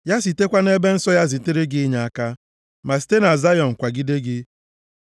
Ya sitekwa nʼebe nsọ ya zitere gị inyeaka, ma site na Zayọn kwagide gị.